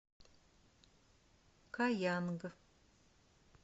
каянг